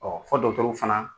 fɔ fana